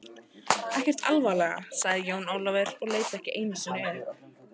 Ekkert alvarlega, sagði Jón Ólafur og leit ekki einu sinni upp.